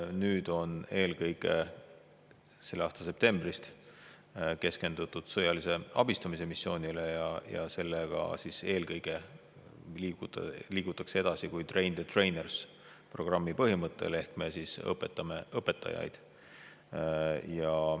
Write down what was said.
Nüüd, just selle aasta septembrist on keskendutud sõjalise abistamise missioonile ja sellega liigutakse eelkõige edasi train the trainers programmi põhimõttel ehk me õpetame õpetajaid.